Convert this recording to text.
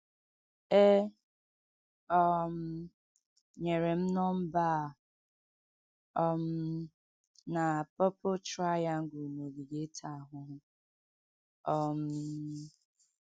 E um nyere m nọmba a um na purple triangle n’ogige ịta ahụhụ um